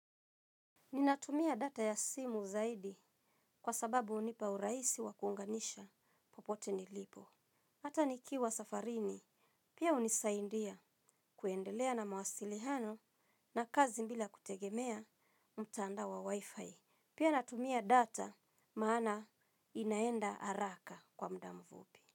Ninatumia data ya simu zaidi kwa sababu hunipa urahisi wa kuunganisha popote nilipo. Hata nikiwa safarini, pia hunisaidia kuendelea na mawasiliano na kazi bila kutegemea mtandao wa wi-fi. Pia natumia data maana inaenda haraka kwa muda mfupi.